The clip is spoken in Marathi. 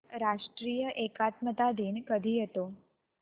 राष्ट्रीय एकात्मता दिन कधी येतो